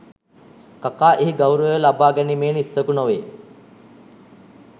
කකා එහි ගෞරවය ලබා ගැනීමේ නිස්සකු නොවේ